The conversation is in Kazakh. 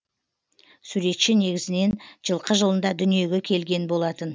суретші негізінен жылқы жылында дүниеге келген болатын